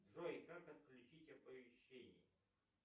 джой как отключить оповещения